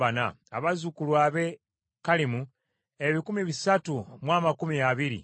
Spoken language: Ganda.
abazzukulu ab’e Kalimu ebikumi bisatu mu amakumi abiri (320),